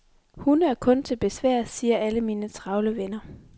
Hunde er kun til besvær, siger alle mine travle venner.